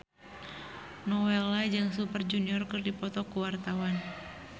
Nowela jeung Super Junior keur dipoto ku wartawan